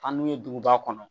An n'u ye duguba kɔnɔ